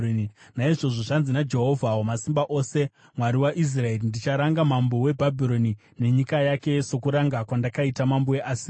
Naizvozvo zvanzi naJehovha Wamasimba Ose, Mwari waIsraeri: “Ndicharanga mambo weBhabhironi nenyika yake, sokuranga kwandakaita mambo weAsiria.